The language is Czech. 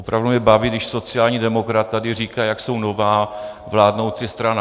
Opravdu mě baví, když sociální demokrat tady říká, jak jsou nová vládnoucí strana.